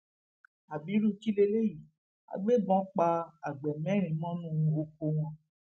ábírú kí lélẹyìí àgbébọn pa àgbẹ mẹrin mọnú oko wọn